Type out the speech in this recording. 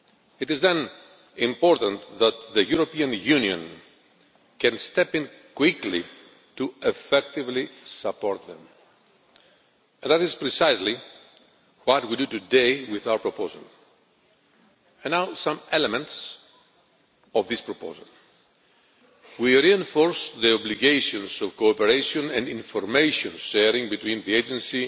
It is therefore important that the European Union can step in quickly to effectively support them. That is precisely what we are doing today with our proposal. Now some elements of this proposal we reinforce the obligations of cooperation and information sharing between the Agency